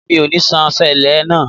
Mi ò ní san èlé náà.